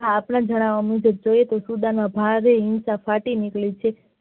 આપણા જાણાવીયા મુજબ ભારે હિંસા ફાટી નીકળી છે.